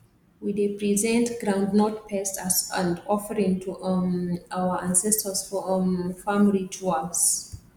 we dey present groundnut paste as and offering to um our ancestors for um farm rituals